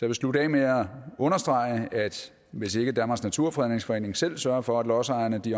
vil slutte af med at understrege at hvis ikke danmarks naturfredningsforening selv sørger for at lodsejerne